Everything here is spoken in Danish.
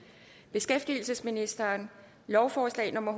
beskæftigelsesministeren lovforslag nummer